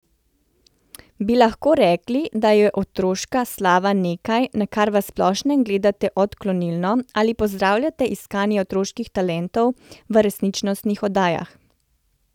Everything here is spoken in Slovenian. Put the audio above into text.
Bi lahko rekli, da je otroška slava nekaj, na kar v splošnem gledate odklonilno ali pozdravljate iskanje otroških talentov v resničnostnih oddajah?